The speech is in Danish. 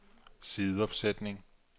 sideopsætning